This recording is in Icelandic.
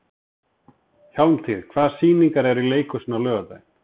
Hjálmtýr, hvaða sýningar eru í leikhúsinu á laugardaginn?